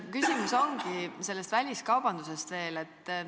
Küsingi selle väliskaubanduse kohta veel.